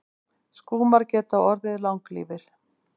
Skúmar geta orðið langlífir.